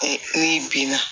E binna